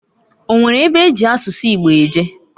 O nwere ebe eji asụsụ Igbo eje?